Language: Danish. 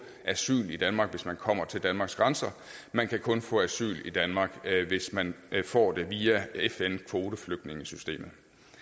asyl i danmark hvis man kommer til danmarks grænser man kan kun få asyl i danmark hvis man får det via fn kvoteflygtningesystemet